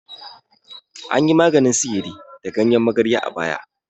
Anyi maganin sihiri da ganyen magarya a baya.